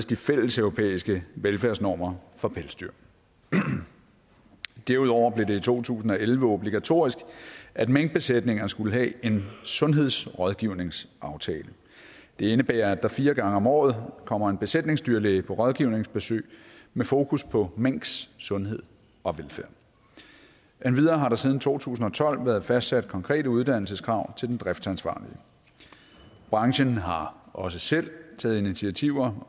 de fælleseuropæiske velfærdsnormer for pelsdyr derudover blev det i to tusind og elleve obligatorisk at minkbesætninger skulle have en sundhedsrådgivningsaftale det indebærer at der fire gange om året kommer en besætningsdyrlæge på rådgivningsbesøg med fokus på minks sundhed og velfærd endvidere har der siden to tusind og tolv været fastsat konkrete uddannelseskrav til den driftsansvarlige branchen har også selv taget initiativer